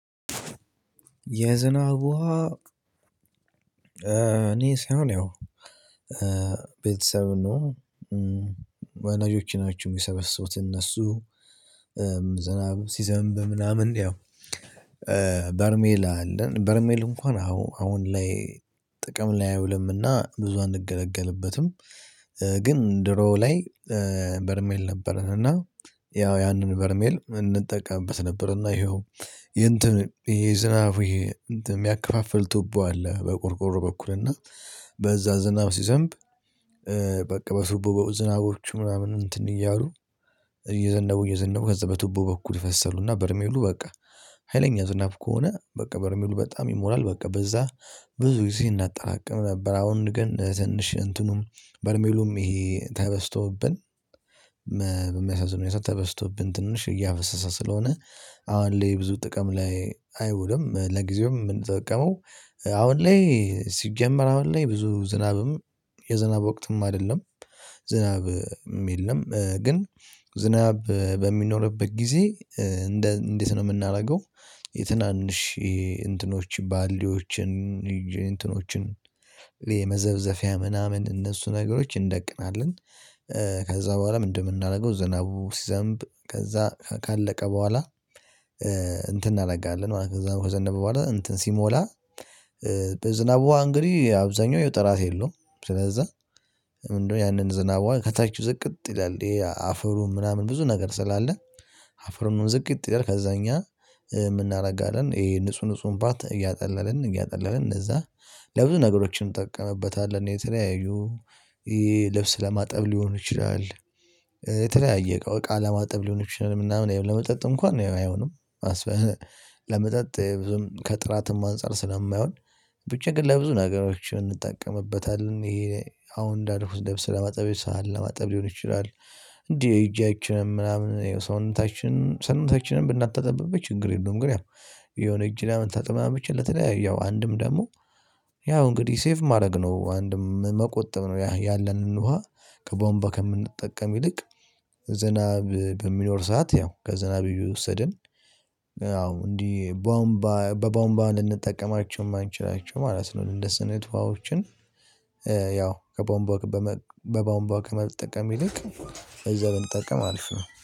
የዝናብ ውሃ እኔ ሳይሆን ያው ቤተሰብ ነው ዋናዎች ናቸው የሚሰበስቡት እነሱ ዝናቡ ሲዘንብ ምናምን ያው በርሜል አለን በርሜል እንኳን አሁን አሁን ላይ ጥቅም ላይ አይውልምና ብዙ አንገለገልበትም። ግን ድሮ ላይ በርሜል ነበረን እና ያው ያንን በርሜል እንጠቀምበት ነበር እና ይሄው ይሄ ዝናብ የሚያከፋፍል ቱቦ አለ በቁርቁር በኩል እና በዛ ዝናብ ሲዘንብ። በቱቦ በውድ ዝናቦቹ ምናምን እንትን እያሉ እየዘነቡ እየዘነቡ ከዛ በቱቦ በኩል ፈሰሉና በርሜሉ በቃ ሀይለኛ ዝናብ ከሆነ በቃ በርሜሉ በጣም ይሞላል በቃ በዛ ብዙ ጊዜ እናጠራቅም ነበር። አሁን ግን ትንሽ እንትኑም በርሜሉም ይሄ ተበስቶብን። የሰጠው ተበስቶብን ትንሽ እያፈሰሰ ስለሆነ አሁን ላይ ብዙ ጥቅም ላይ አይውለም ለጊዜውም የምንጠቀመው። አሁን ላይ ሲጀመር አሁን ላይ ብዙ ዝናብም የዝናብ ወቅትም አይደለም ዝናብም የለም። ግን ዝናብ በሚኖርበት ጊዜ እንደ እንዴት ነው የምናደርገው? የትናንሽ ይሄ እንትኖች ባልዲዎችን እንትኖችን የመዘብዘቢያ ምናምን እነሱ ነገሮች እንደቅናለን። ከዛ በኋላ ምን እንደምናደርገው ዘናቡ ሲዘንብ ከዛ ካለቀ በኋላ። እንትን እናደርጋለን ከዛ ከዘነበ በኋላ ሲሞላ በዝናብ ውሃ እንግዲህ አብዛኛው ጥራት የለውም። ስለዚህ ምንድነው ያንን ዝናብ ከታች ዝቅጥ ይላል ይሄ አፈሩ ምናምን ብዙ ነገር ስላለ። አፈሩንም ዝቅጥ ይላል ከዛ እኛ የምናደርጋለን ይሄ ንጹህ ንጹህ ፓርት እያጠለልን እያጠለልን እነዛ ለብዙ ነገሮችንም ጠቀመበታል የተለያዩ ልብስ ለማጠብ ሊሆን ይችላል። የተለያየ እቃ ለማጠብ ሊሆን ይችላል የምናምን ለመጠጥ እንኳን አይሆንም። አስበነ ለመጠጥ ብዙም ከጥራትም አንፃር ስለማይሆን ብቻ ግን ለብዙ ነገሮች እንጠቀምበታለን። ይሄ አሁን እንዳልኩት ለብስ ለማጠብ ሳህን ለማጠብ ሊሆን ይችላል። እንዴ ሄጃችንም ምናምን ሰውነታችን ሰውነታችንንም ብንታጠብበት ችግር የለውም። ግን የሆነ እጅ ለምን ተጠማመች ለተለያዩ ያው አንድም ደግሞ። ያው እንግዲህ ሴቭ ማድረግ ነው አንድም መቆጠብ ነው ያለንን ውሃ ከቧምባ ከምንጠቀም ይልቅ። ዝናብ በሚኖር ሰዓት ያው ከዝናብ እየወሰድን አዎ እንዲህ ባምባ በቧምባ ልንጠቀማቸው የማንችላቸው ማለት ነው። እንደ ስነ ት ውሃዎችን። ያው ከቧምባ በቧምቦ ከመጠቀም ይልቅ እዛ ብንጠቀም አሪፍ ነው